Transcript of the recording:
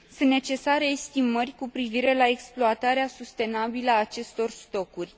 Sunt necesare estimări cu privire la exploatarea sustenabilă a acestor stocuri.